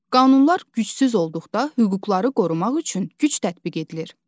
Qanunlar gücsüz olduqda, hüquqları qorumaq üçün güc tətbiq edilir.